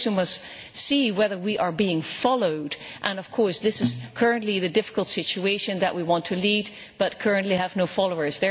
Of course, we must see whether we are being followed, and that is currently the difficult situation we want to lead but currently have no followers.